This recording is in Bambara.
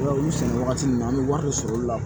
olu sɛnɛ wagati min na an bɛ wari de sɔrɔ olu la